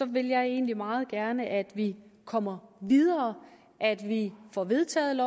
vil jeg egentlig meget gerne at vi kommer videre at vi får vedtaget